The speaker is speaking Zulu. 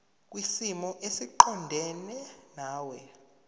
kwisimo esiqondena nawe